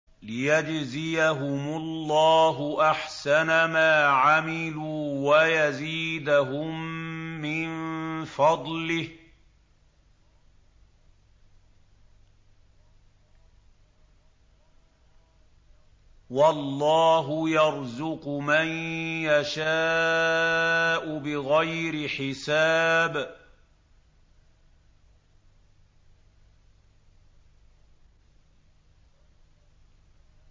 لِيَجْزِيَهُمُ اللَّهُ أَحْسَنَ مَا عَمِلُوا وَيَزِيدَهُم مِّن فَضْلِهِ ۗ وَاللَّهُ يَرْزُقُ مَن يَشَاءُ بِغَيْرِ حِسَابٍ